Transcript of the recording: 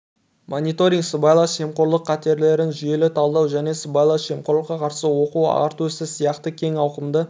мониторинг сыбайлас жемқорлық қатерлерін жүйелі талдау және сыбайлас жемқорлыққа қарсы оқу-ағарту ісі сияқты кең ауқымды